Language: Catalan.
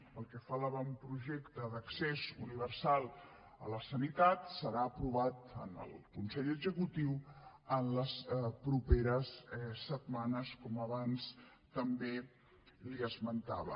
pel que fa a l’avantprojecte d’accés universal a la sanitat serà aprovat en el consell executiu en les properes setmanes com abans també li esmentava